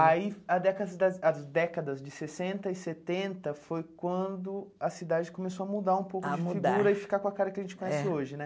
Aí, a déscadas as décadas de sessenta e setenta foi quando a cidade começou a mudar um pouco de figura e ficar com a cara que a gente conhece hoje, né?